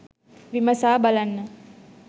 විමසා බලන්න